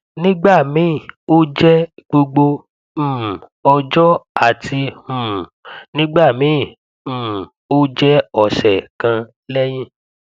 nígbà míì ó jẹ gbogbo um ọjọ àti um nígbà míì um ó jẹ ọsẹ kan lẹyìn